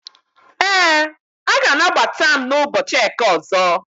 Ee, a ga-anagbata ​​m na ụbọchị eke ọzọ